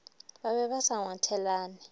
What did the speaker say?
ba be ba sa ngwathelane